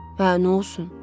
Hə, nə olsun?